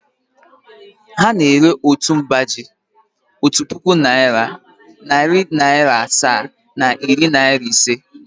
Ha na-ere otu mba ji otu puku naịra, narị naịra asaa na iri naịra ise.